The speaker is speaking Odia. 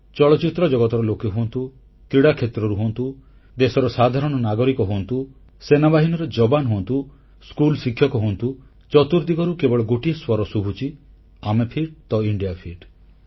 ଚଳଚ୍ଚିତ୍ର ଜଗତର ଲୋକେ ହୁଅନ୍ତୁ କ୍ରୀଡ଼ାକ୍ଷେତ୍ରରୁ ହୁଅନ୍ତୁ ଦେଶର ସାଧାରଣ ନାଗରିକ ହୁଅନ୍ତୁ ସେନାବାହିନୀର ଯବାନ ହୁଅନ୍ତୁ ସ୍କୁଲ ଶିକ୍ଷକ ହୁଅନ୍ତୁ ଚତୁର୍ଦ୍ଦିଗରୁ କେବଳ ଗୋଟିଏ ସ୍ୱର ଶୁଭୁଛି ଆମେ ଫିଟ ତ ଇଣ୍ଡିଆ ଫିଟ